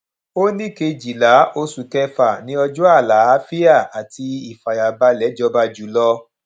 ó ní kejìlá oṣù kẹfà ni ọjọ àlàáfíà àti ìfàyàbalè jọba jùlọ